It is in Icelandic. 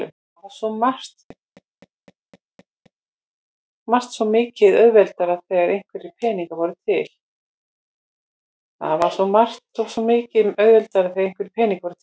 Það var svo margt svo miklu auðveldara þegar einhverjir peningar voru til.